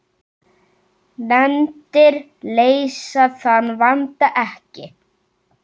Nefndir leysa þann vanda ekki.